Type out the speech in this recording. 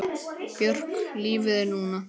Björk Lífið er núna!